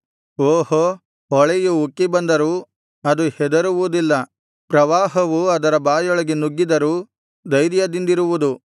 ಓಹೋ ಹೊಳೆಯು ಉಕ್ಕಿ ಬಂದರೂ ಅದು ಹೆದರುವುದಿಲ್ಲ ಪ್ರವಾಹವು ಅದರ ಬಾಯೊಳಗೆ ನುಗ್ಗಿದರೂ ಧೈರ್ಯದಿಂದಿರುವುದು